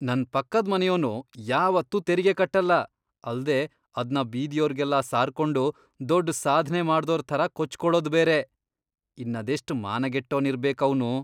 ನನ್ ಪಕ್ಕದ್ ಮನೆಯೋನು ಯಾವತ್ತೂ ತೆರಿಗೆ ಕಟ್ಟಲ್ಲ, ಅಲ್ದೇ ಅದ್ನ ಬೀದಿಯೋರ್ಗೆಲ್ಲ ಸಾರ್ಕೊಂಡು ದೊಡ್ಡ್ ಸಾಧ್ನೆ ಮಾಡ್ದೋರ್ ಥರ ಕೊಚ್ಕೊಳೋದ್ ಬೇರೆ.. ಇನ್ನದೆಷ್ಟ್ ಮಾನಗೆಟ್ಟೋನ್ ಇರ್ಬೇಕ್ ಅವ್ನು.